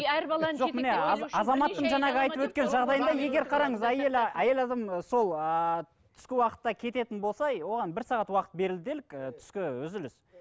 әйел адам сол ыыы түскі уақытта кететін болса оған бір сағат уақыт берілді делік түскі үзіліс